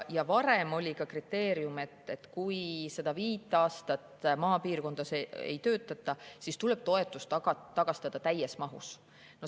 Varem oli ka see kriteerium, et kui viit aastat maapiirkonnas ei töötata, siis tuleb toetus tagastada täies mahus.